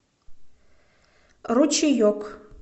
ручеек